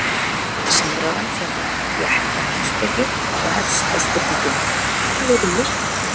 Samræðan fjallar um réttarheimspeki og hefst á spurningunni Hvað eru lög?